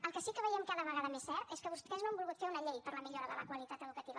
el que sí que veiem cada vegada més cert és que vostès no han volgut fer una llei per a la millora de la qualitat educativa